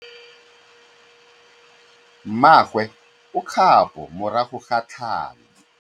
Mmagwe o kgapô morago ga tlhalô.